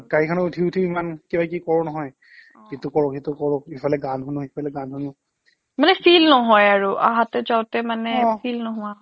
গাড়ীখনত উঠি উঠিও ইমান কিবা কিবি কৰো নহয় ইটো কৰো সিটো কৰো ইফালে গান শুনো সিফালে গান শুনো